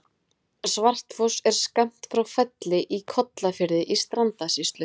Svartfoss er skammt frá Felli í Kollafirði í Strandasýslu.